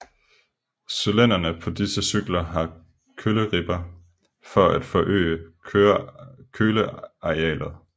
Cylindrene på disse cykler har køleribber for at forøge kølearealet